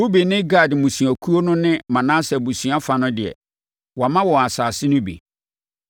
Ruben ne Gad mmusuakuo no ne Manase abusua fa no deɛ, wɔama wɔn asase no bi